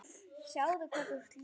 Sjáðu hvað þú ert ljót.